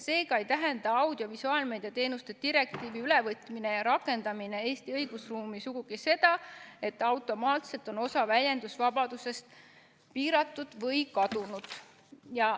Seega ei tähenda audiovisuaalmeedia teenuste direktiivi ülevõtmine ja rakendamine Eesti õigusruumis sugugi seda, et automaatselt on osa väljendusvabadusest piiratud või kadunud.